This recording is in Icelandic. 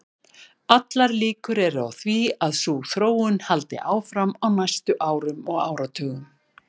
Allar líkur eru á því að sú þróun haldi áfram á næstu árum og áratugum.